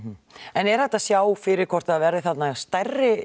er hægt að sjá fyrir hvort það verði þarna stærri